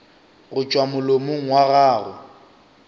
go tšwa molomong wa gago